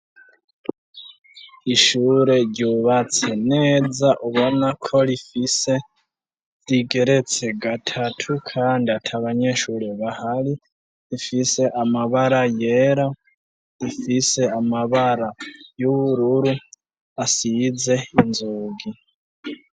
Ishure ryubatse neza ubona ko rifise, rigeretse gatatu kandi ata banyeshure bahari, rifise amabara yera, rifise amabara y'ubururu asize inzogi.